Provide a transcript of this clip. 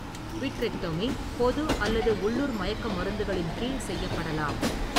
Vitrectomy பொது அல்லது உள்ளூர் மயக்க மருந்துகளின் கீழ் செய்யப்படலாம்.